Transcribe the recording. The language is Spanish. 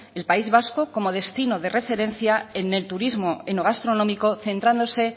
el país vasco como destino de referencia en el turismo en lo gastronómico centrándose